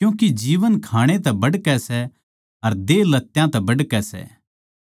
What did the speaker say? क्यूँके जीवन खाणै तै बढ़कै सै अर देह लत्यां तै बढ़कै सै